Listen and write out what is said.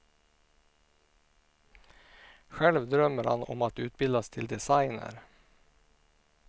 Själv drömmer han om att utbildas till designer.